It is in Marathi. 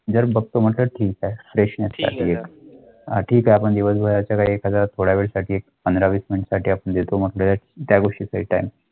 हां ठीक आहे पण दिवसभराच्या मिनिटं आपण देतो. मग त्या गोष्टी भेटेल.